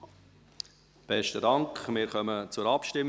Wir kommen zur Abstimmung.